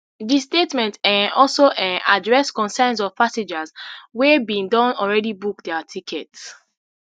di statement um also um address concerns of passengers wey bin don already book dia tickets